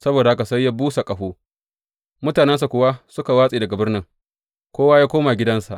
Saboda haka sai ya busa ƙaho, mutanensa kuwa suka watse daga birnin, kowa ya koma gidansa.